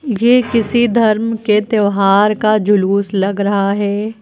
ये किसी धर्म के त्यौहार का जुलूस लग रहा है।